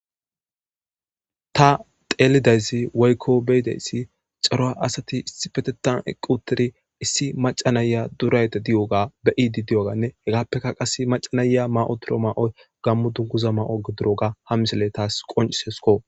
ta teelidayzi woykko beyideyssi caroa asati issi petetan eqqu utidi issi maca naya durayde di7oga be iidi di7oganne hegaappeka qas macanaya ma7o toro ma7o gammu dunguza ma7o geduroga ha misele taas qoncisesko